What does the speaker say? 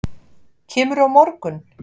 Kemurðu á morgun?